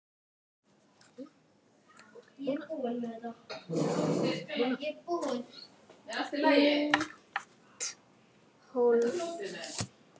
Nýtt hólf.